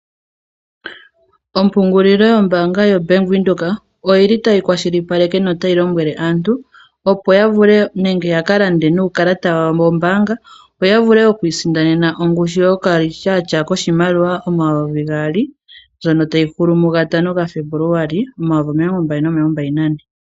Ompungululilo yo mbanga ya Bank Windhoek oyili tayi kwashilipaleke nota yi lombwele aantu opo yavule nenge yakalande nuukalata wawo wombaanga yo yavule okwisindanena ongushu yokalityatya koshimaliwa shomayovigaali ($2000)ndjono tayihulu mu ga 5 Febuluali2024.